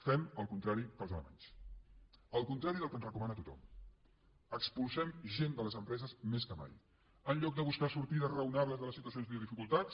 fem el contrari dels alemanys el contrari del que ens recomana tothom expulsem gent de les empreses més que mai en lloc de buscar sortides raonables de les situacions de dificultats